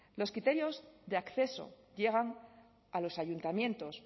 los criterios de acceso llegan a los ayuntamientos